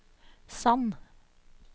Sand